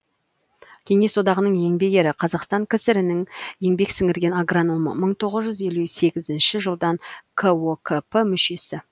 кеңес одағының еңбек ері қазақстан кср нің еңбек сіңірген агрономы мың тоғыз жүз елу сегізінші жылдан кокп мүшесі